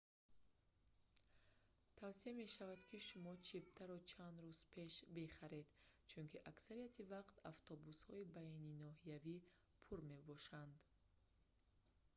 тавсия мешавад ки шумо чиптаро чанд рӯз пеш бихаред чунки аксарияти вақт автобусҳои байниноҳиявӣ пур мебошанд